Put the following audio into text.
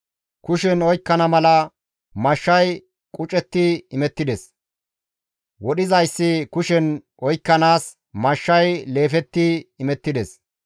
Kushen oykkana mala mashshay qucettidi imettides; wodhizayssi kushen oykkanaas mashshay leefettidi imettides.